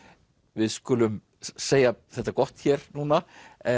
við skulum segja þetta gott hér núna